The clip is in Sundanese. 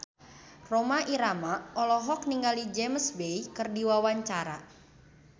Rhoma Irama olohok ningali James Bay keur diwawancara